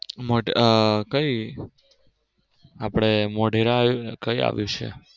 મોઢે અઅઅઅ કઈ આપડે મોઢેરા આવ્યું કઈ આવ્યુ છે?